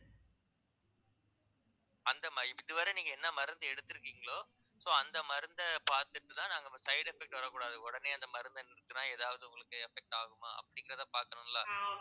அந்த ம~ இதுவரை நீங்க என்ன மருந்து எடுத்திருக்கீங்களோ so அந்த மருந்தை பார்த்துட்டுதான் நாங்க side effect வரக்கூடாது உடனே அந்த மருந்தை நிறுத்தினா ஏதாவது உங்களுக்கு affect ஆகுமா அப்படிங்கிறதை பார்க்கணும் இல்லை